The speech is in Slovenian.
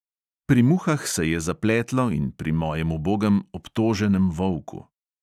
Pri muhah se je zapletlo in pri mojem ubogem obtoženem volku.